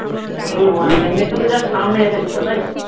শুধু মানে এমনি শুধু just সামনে এসেছিলো তাইতো